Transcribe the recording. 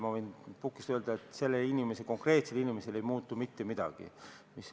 Ma võin pukist öelda, et konkreetsel inimesel ei muutu mitte midagi.